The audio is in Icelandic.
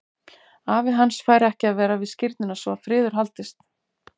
Afi hans fær ekki að vera við skírnina svo að friður haldist.